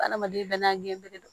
Adamaden bɛɛ n'a gere don